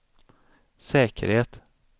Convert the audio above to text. säkerhet